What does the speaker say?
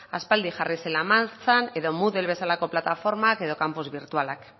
aspaldi jarri zela martxan edo moodle bezalako plataformak edo campus birtualak